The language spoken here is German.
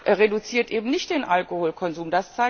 Das reduziert eben nicht den Alkoholkonsum.